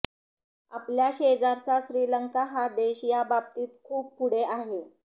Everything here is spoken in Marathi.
आपल्या शेजारचा श्रीलंका हा देश या बाबतीत खूप पुढे आहे